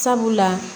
Sabula